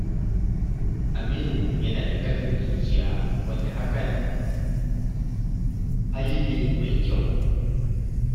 Aminu yana da ƙarfin zuciya, wanda hakan hali ne mai kyau.